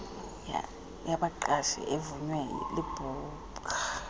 yabaqeshi evunywe libhubga